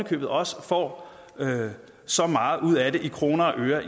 købet også får så meget ud af det i kroner og øre